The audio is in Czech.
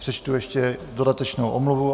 Přečtu ještě dodatečnou omluvu.